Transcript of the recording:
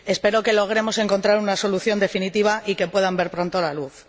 Espero que logremos encontrar una solución definitiva y que puedan ver pronto la luz.